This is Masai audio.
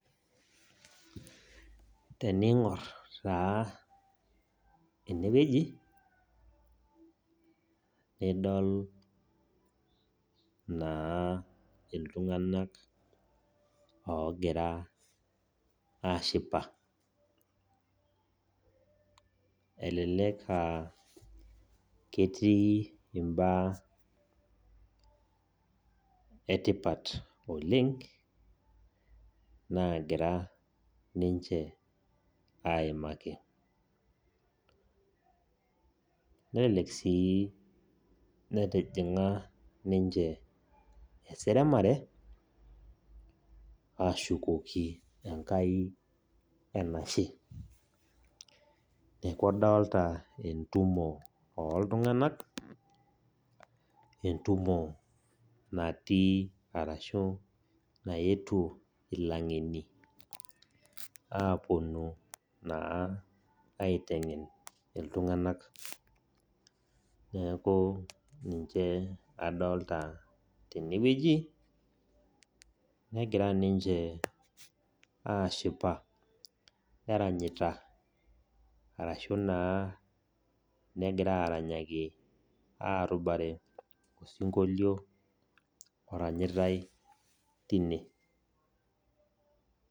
Tening'or taa ene wueji nidol taa iltung'ana ogira ashipa. Elelek aa ketii imbaa etipat oleng' naagira ninche aimaki. Nelelek sii etijing'a ninche eseremare ashukoki enkai enashe. Neaku adolita entumo oo iltung'anak, entumo natii arashu naetuo ilaing'eni apuonu naa aiteng'en iltung'ana, neaku ninche adolita tene wueji negira ninche ashipa, arashu naa negira aranyaki arubare osinkolio oranyitai teine.